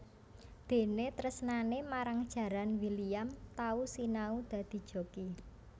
Déné tresnané marang jaran William tau sinau dadi joki